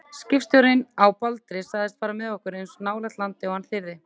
Skipstjórinn á Baldri sagðist fara með okkur eins nálægt landi og hann þyrði.